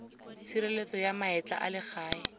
tshireletso ya maetla a legae